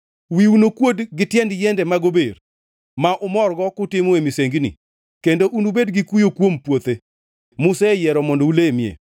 Wiu nokuodi gi tiend yiende mag ober ma umorgo kutimoe misengini, kendo unubed gi kuyo kuom puothe museyiero mondo ulemie.